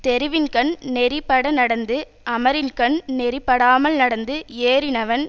தெருவின்கண் நெறிப்பட நடந்து அமரின்கண் நெறிப்படாமல் நடந்து ஏறினவன்